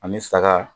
Ani saga